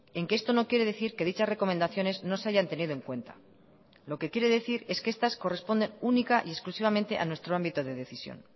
en que esto no quiere decir que dichas recomendaciones no se hayan tenido en cuenta lo que quiere decir es que estas corresponden única y exclusivamente a nuestro ámbito de decisión